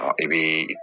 I bɛ